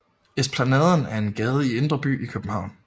Esplanaden er en gade i Indre By i København